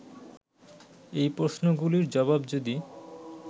এই প্রশ্নগুলির জবাব যদি